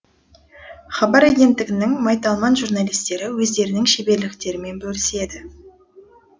хабар агенттігінің майталман журналистері өздерінің шеберліктерімен бөліседі